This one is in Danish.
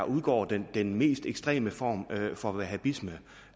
udgår den den mest ekstreme form for wahabisme